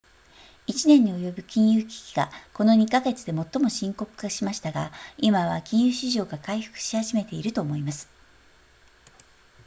「1年に及ぶ金融危機がこの2か月で最も深刻化しましたが、今は金融市場が回復し始めていると思います」